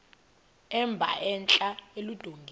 emba entla eludongeni